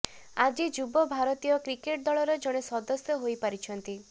ଆଜି ଯୁବ ଭାରତୀୟ କ୍ରିକେଟ ଦଳର ଜଣେ ସଦସ୍ୟ ହୋଇପାରିଛନ୍ତି